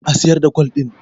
a siyar da gwal din!